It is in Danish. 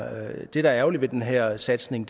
at det der er ærgerligt ved den her satsning